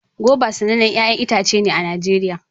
goba sanannen 'ya'yan itace ne a Najeriya